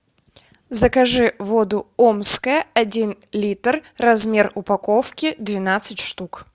закажи воду омская один литр размер упаковки двенадцать штук